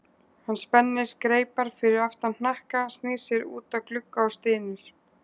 Hann spennir greipar fyrir aftan hnakka, snýr sér út að glugga og stynur.